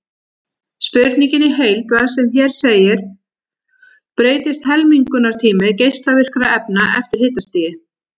Spurningin í heild var sem hér segir: Breytist helmingunartími geislavirkra efna eftir hitastigi?